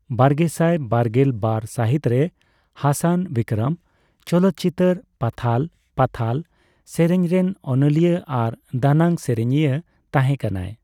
ᱵᱟᱨᱜᱮᱥᱟᱭ ᱵᱟᱨᱜᱮᱞ ᱵᱟᱨ ᱥᱟᱦᱤᱛ ᱨᱮ ᱦᱟᱥᱟᱱ 'ᱵᱤᱠᱨᱚᱢ' ᱪᱚᱞᱚᱛᱪᱤᱛᱟᱹᱨ ᱯᱟᱛᱷᱟᱞᱟ ᱯᱟᱛᱷᱟᱞᱟ' ᱥᱮᱨᱮᱧᱨᱮᱱ ᱚᱱᱚᱞᱤᱭᱟ ᱟᱨ ᱫᱟᱱᱟᱝ ᱥᱮᱨᱮᱧᱤᱭᱟ ᱛᱟᱦᱮᱸᱠᱟᱱᱟ᱾